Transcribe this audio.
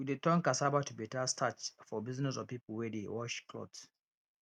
we dey turn cassava to better starch for business of people wey de wash cloths